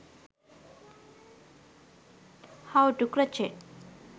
how to crochet